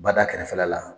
Bada kɛrɛfɛla la